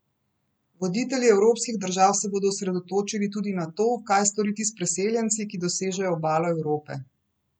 Voditelji evropskih držav se bodo osredotočili tudi na to, kaj storiti s preseljenci, ki dosežejo obalo Evrope.